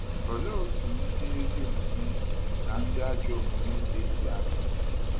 Olee otú ndị ezi omume na ndị ajọ omume ga-esi dị?